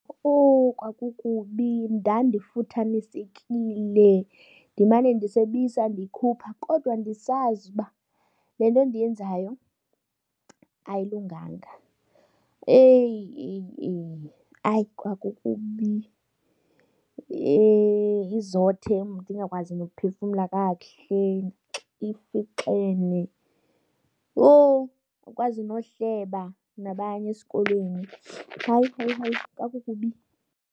Owu, kwakukubi ndandifuthamisekile ndimane ndisebisa ndiyikhupha kodwa ndisazi uba le nto ndiyenzayo ayilunganga. Eyi, eyi, eyi, hayi kwakukubi izothe ndingakwazi nokuphefumla kakuhle ifixene. Yho, awukwazi nohleba nabanye esikolweni. Hayi, hayi, hayi kwakukubi.